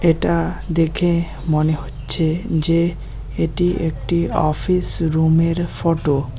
এটা দেখে মনে হচ্ছে যে এটি একটি অফিস রুমের ফটো ।